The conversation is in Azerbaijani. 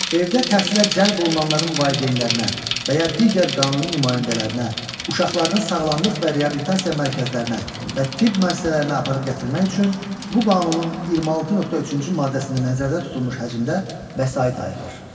Evdə təhsilə cəlb olunanların valideynlərinə və ya digər qanuni nümayəndələrinə uşaqlarını sağlamlıq və reabilitasiya mərkəzlərinə və tibb müəssisələrinə aparıb gətirmək üçün bu Qanunun 26.3-cü maddəsində nəzərdə tutulmuş həcmdə vəsait ayrılır.